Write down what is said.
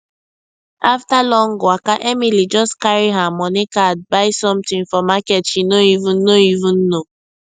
after long waka emily just carry her money card buy something for market she no even no even know